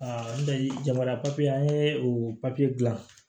n dali jamana an ye o papiye dilan